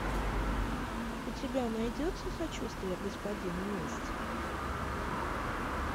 у тебя найдется сочувствие господину месть